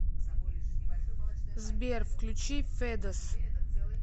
сбер включи федос